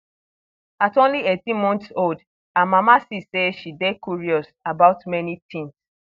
at only 18 months old her mama see say she dey curious about many tins